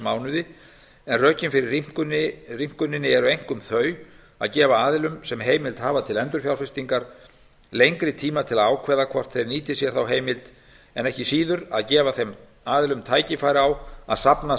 mánuði en rökin fyrir rýmkuninni eru einkum þau að gefa aðilum sem heimil hafa til endurfjárfestingar lengri tíma til að ákveða hvort þeir nýti sér þá heimild en ekki síður að gefa þeim aðilum tækifæri á að safna